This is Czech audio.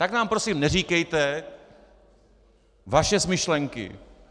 Tak nám prosím neříkejte vaše smyšlenky.